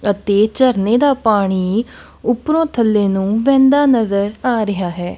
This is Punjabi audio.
ਅਤੇ ਝਰਨੇ ਦਾ ਪਾਣੀ ਉੱਪਰੋਂ ਥੱਲੇ ਨੂੰ ਵਹਿੰਦਾ ਨਜ਼ਰ ਆ ਰਿਹਾ ਹੈ।